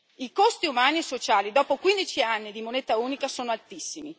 I costi umani e sociali, dopo quindici anni di moneta unica, sono altissimi.